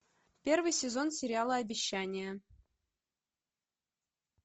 первый сезон сериала обещание